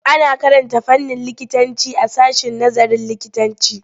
Ana karanta fannin likitanci a sashen nazarin likitanci.